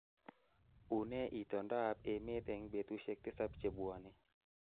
unee itondoab emet eng betusiek tisab chebwone